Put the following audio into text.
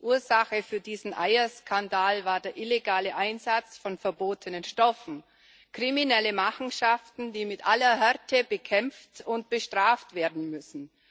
Ursache für diesen Eierskandal war der illegale Einsatz von verbotenen Stoffen kriminelle Machenschaften, die mit aller Härte bekämpft und bestraft werden müssen.